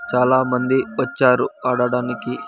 చాలామంది వచ్చారు ఆడడానికి.